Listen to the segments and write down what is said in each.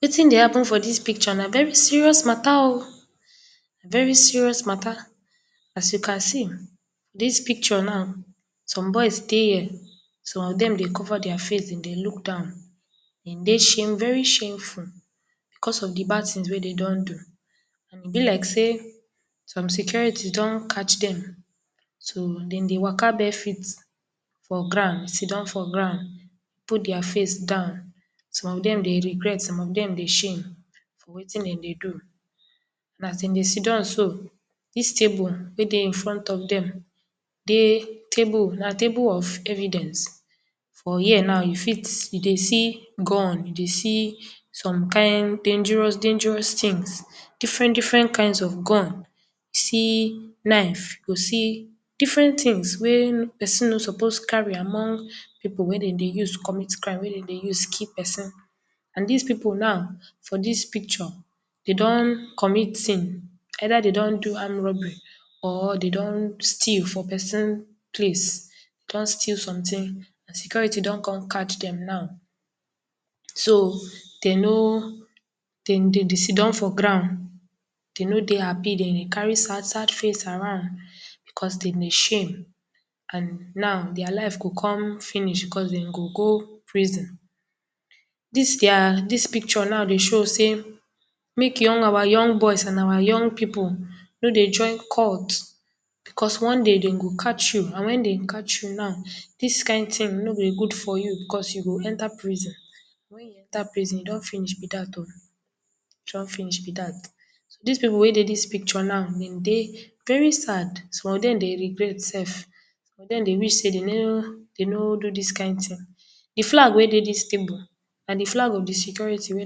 Wetin dey happen for dis picture na very serious mata oh very serious mata as you can see dis picture now some boys dey here some of de dey cover dia face dem dey look down dem dey shame very shameful because if de bad ting wey dey don do and e be like sey some security don catch dem. so dem dey waka bare feet for ground sit down for ground put dia face down and some of dem dey regret some of dem dey shame for wetin dem dey do as dem dey sit down so dis table wey dey in front of dem dey table na table of evidence for here now you fit you dey see gun you dey see some kind dangerous dangerous tings different different kinds of gun. see knife you go see different tings wey person no suppose carry among pipu wey dem dey use commit crime wey dem dey use kill person and dis pipu now for dis picture dey don commit sin either dey don do armed robbery or dey don steal for peris place don steal someting and security don come catch dem now so dem no dem dey sit down for ground. Dem no dey happy dem dey carry sad sad face around because dem dey shame and now dia life go come finish because dem go go prison dis dia dis picture now dey show sey make our young boys and our young pipu no dey join cult because one day dem go catch you and wen dey catch you now, dis kind ting no go good for you because you go enter prison. Wen you enter prison, e don finish be dat oh. e don finish be dat dis pipu wey dey dis picture now some dey very sad some of dem dey regret sef some of dem dey wish sey dem no do dis kind ting. de flag wey dey dis table na de flag of de security wey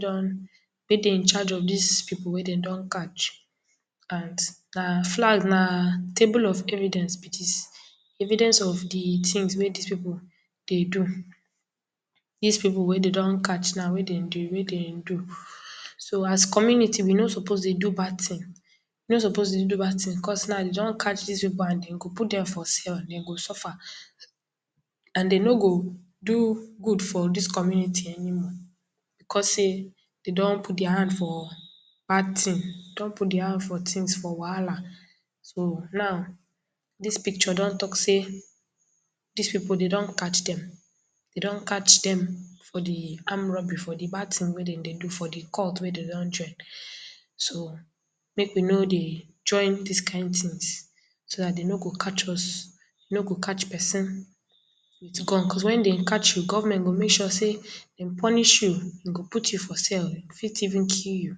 dey in charge of dis pipu wey dey don catch, na flag, na table of evidence be dis evidence. if de ting wey dis pipu dey do dis pipu wey dey don catch now wey dem dey wey dem do so as community we no suppose dey do bad ting because now dey don catch dis pipu and dem go out dem for cell dem go suffer and e no go do good for dis community anymore because sey dey don put for bad tings dey don put dia hand for wahala. so now dis picture don talk sey dis pipu dey don catch dem dey don catch dem for de armed robbery for de bad ting wey dem dey do for de cult wey dem don join so make we no dey join dis kind tings is dat dem no go catch us so dat dem no go shoot person with gun because wen dey catch dem government go make sure sey dem punish you out you for cell fit even kill you.